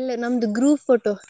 ಎಲ್ಲ ನಮ್ದು group photo .